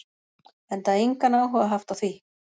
Enda engan áhuga haft á því.